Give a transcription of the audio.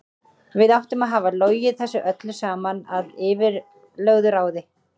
Við áttum að hafa logið þessu öllu saman að yfirlögðu ráði.